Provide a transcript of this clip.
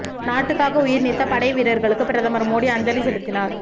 நாட்டுக்காக உயிர் நீத்த படை வீரர்களுக்கு பிரதமர் மோடி அஞ்சலி செலுத்தினார்